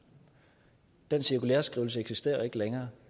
den cirkulæreskrivelse eksisterer ikke længere